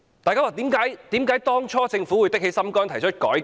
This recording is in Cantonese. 為甚麼政府當初會下定決心，提出改革？